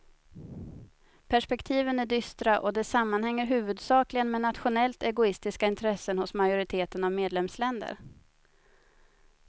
Perspektiven är dystra och det sammanhänger huvudsakligen med nationellt egoistiska intressen hos majoriteten av medlemsländer.